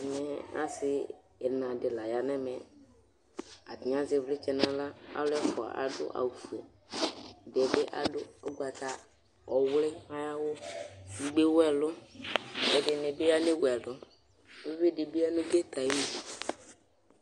ɛmɛ ase ɛna di la ya n'ɛmɛ atani azɛ ivlitsɛ n'ala alo ɛfua ado awu fue ɛdiɛ bi ado ugbata ɔwli ay'awu edigbo ewu ɛlò ɛdini bi an'ewu ɛlò uvi di bi ya no get ayinu